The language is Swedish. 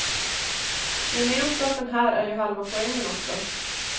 Gemenskapen här är ju halva poängen också.